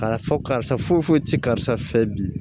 Ka fɔ karisa foyi foyi ti karisa fɛ bi